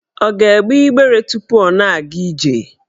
Ọ ga-egbe igbere tupu ọ na-aga ije?